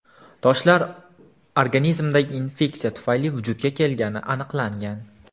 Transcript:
Toshlar organizmdagi infeksiya tufayli vujudga kelgani aniqlangan.